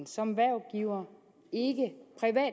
som hvervgiver og en